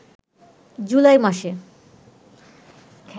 জুলাই মাসে